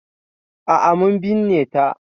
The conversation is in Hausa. A'a mun binne ta.